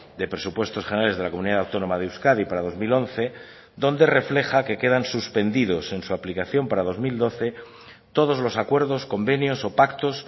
de presupuestos generales de la comunidad autónoma de euskadi para dos mil once donde refleja que quedan suspendidos en su aplicación para dos mil doce todos los acuerdos convenios o pactos